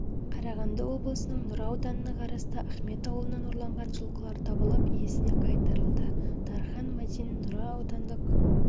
қарағанды облысының нұра ауданына қарасты ахмет ауылынан ұрланған жылқылар табылып иесіне қайтарылды дархан мадин нұра аудандық